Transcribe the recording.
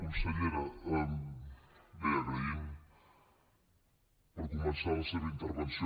consellera bé agraïm per començar la seva intervenció